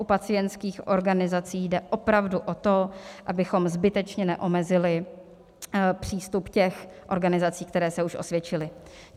U pacientských organizací jde opravdu o to, abychom zbytečně neomezili přístup těch organizací, které se už osvědčily.